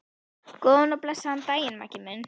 Góðan og blessaðan daginn, Maggi minn.